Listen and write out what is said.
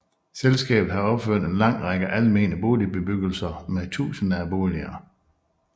Selskabet har opført en lang række almene boligbebyggelser med tusinder af boliger